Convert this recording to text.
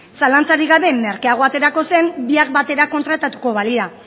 zalantzarik gabe merkeago aterako zen biak batera kontratatuko balira